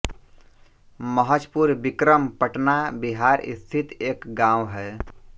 महजपुर बिक्रम पटना बिहार स्थित एक गाँव है